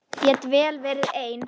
Get vel verið ein.